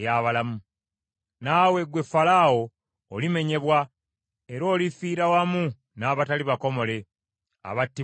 “Naawe ggwe Falaawo, olimenyebwa era olifiira wamu n’abatali bakomole, abattibwa n’ekitala.